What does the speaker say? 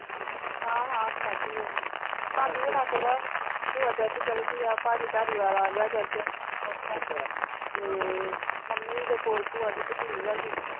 ਹਾਂ ਹਾਂ ਖਾਦੀ ਹੈ ਭਾਬੀ ਹੁਣਾਂ ਤੋਂ ਹੈ ਭੂਆ ਤੇ ਉੱਥੇ ਚੱਲ ਗਈ ਹੈ ਪਾਜੀ ਧਾਰੀਵਾਲ ਆ ਗਿਆ church ਉੱਥੋਂ ਤੇ ਮੰਮੀ ਦੇ ਕੋਲ ਭੂਆ ਦੀ ਭਤੀਜ ਆ ਗਈ।